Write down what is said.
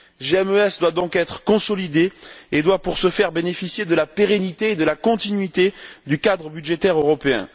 GMES doit donc être consolidé et doit, pour ce faire, bénéficier de la pérennité et de la continuité du cadre budgétaire européen.